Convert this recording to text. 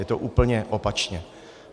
Je to úplně opačně.